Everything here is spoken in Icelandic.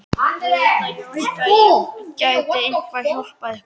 Það vildi ég óska að ég gæti eitthvað hjálpað ykkur!